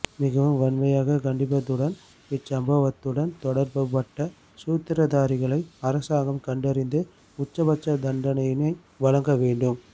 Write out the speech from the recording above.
மிகவும் வன்மையாக கண்டிப்பதுடன் இச் சம்பவத்துடன் தொடர்புபட்ட சூத்திரதாரிகளை அரசாங்கம் கண்டறிந்து உச்சபட்ச தண்டனையினை வளங்கவேண்டும்